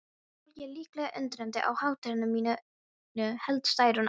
Fólkið er líklega undrandi á hátterni mínu, hélt Særún áfram.